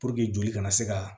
joli kana se ka